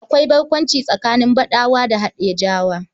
Akwai barkwanci tsakanin Badawa da Haɗejawa.